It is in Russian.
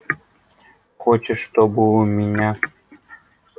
хочешь чтобы у меня